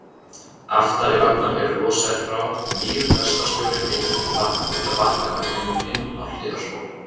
Aftari vagnar eru losaðir frá, nýr lestarstjóri fenginn til að bakka vagninum inn á hliðarspor.